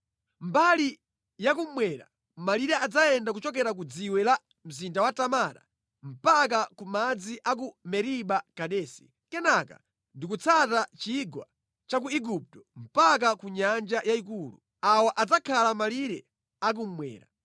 Mbali yakummwera malire adzayenda kuchokera ku dziwe la mzinda wa Tamara mpaka ku madzi a ku Meriba Kadesi. Kenaka ndi kutsata chigwa cha ku Igupto mpaka ku Nyanja Yayikulu. Awa adzakhala malire akummwera.